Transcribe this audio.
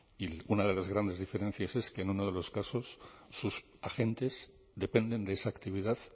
y una de las grandes diferencias es que en uno de los casos sus agentes dependen de esa actividad